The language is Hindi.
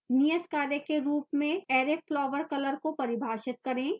नियतकार्य के रूप में array flowercolor को परिभाषित करें